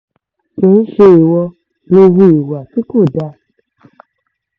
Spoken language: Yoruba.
kì í ṣe ìwọ lò hùwà tí kò dáa ni